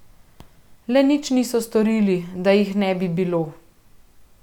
Le nič niso storili, da jih ne bi bilo...